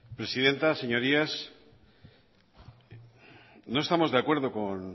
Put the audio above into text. presidenta señorías no estamos de acuerdo con